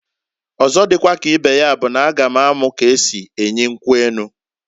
Ọzo dikwa ka ibe ya bụ n'a ga m amu k'esi enyi nkwu enu.